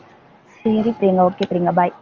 சரி Priyanka okay Priyanka bye